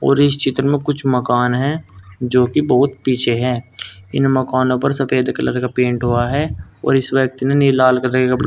और इस चित्र में कुछ मकान है जो कि बहुत पीछे हैं इन मकानों पर सफेद कलर का पेंट हुआ है और इस व्यक्तिने नहीं लाल कलर के।